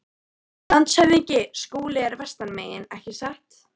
LANDSHÖFÐINGI: Skúli er vestan megin, ekki satt?